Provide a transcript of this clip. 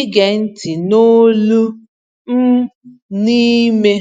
ịge ntị n’olu m n’ime.